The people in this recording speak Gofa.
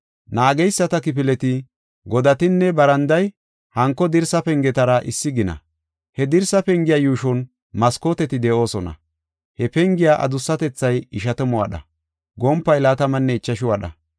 Naageyisata kifileti, godatinne baranday hanko dirsa pengetara issi gina. He dirsa pengiya yuushon maskooteti de7oosona. He pengiya adussatethay ishatamu wadha; gompay laatamanne ichashu wadha.